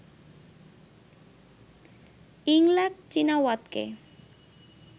Yingluck চিনাওয়াতকে